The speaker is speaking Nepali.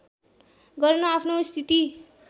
गर्न आफ्नो स्थिति